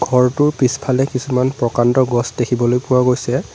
ঘৰটোৰ পিছফালে কিছুমান প্ৰকাণ্ড গছ দেখিবলৈ পোৱা গৈছে।